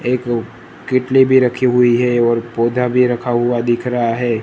एक अ केटली भी रखी हुई है और पौधा भी रखा हुआ दिख रहा है।